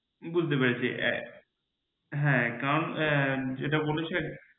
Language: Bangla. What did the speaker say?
বুজতে পেরেছি হ্যাঁ একদম যেটা বলেছে